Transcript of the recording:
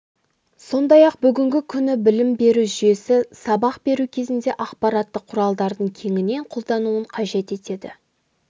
сондай-ақ бүгінгі күні білім беру жүйесі сабақ беру кезінде ақпараттық құралдардың кеңінен қолдануын қажет етеді